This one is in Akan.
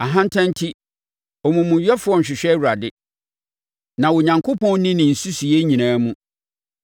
Ahantan enti, omumuyɛfoɔ nhwehwɛ Awurade; na Onyankopɔn nni ne nsusuiɛ nyinaa mu.